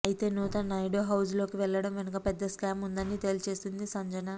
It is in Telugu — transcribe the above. అయితే నూతన్ నాయుడు హౌస్ లోకి వెళ్లడం వెనుక పెద్ద స్కామ్ ఉందని తేల్చేసింది సంజన